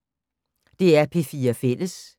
DR P4 Fælles